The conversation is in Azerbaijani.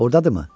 Ordadırmı?